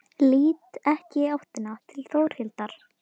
Lít ekki í áttina til Þórhildar.